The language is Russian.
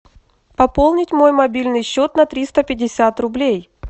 пополнить мой мобильный счет на триста пятьдесят рублей